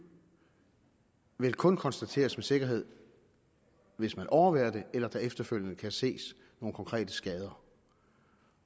vel kun kunne konstateres med sikkerhed hvis man overværer det eller der efterfølgende kan ses nogle konkrete skader